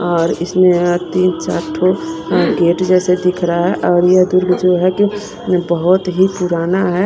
और इसमें तीन चार ठो गेट जैसे दिख रहा है और ये दुर्ग जो है कि बहुत ही पुराना है।